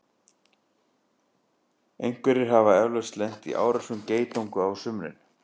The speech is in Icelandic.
einhverjir hafa eflaust lent í árásum geitunga á sumrin